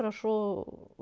хорошо